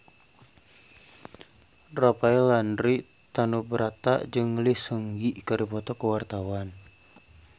Rafael Landry Tanubrata jeung Lee Seung Gi keur dipoto ku wartawan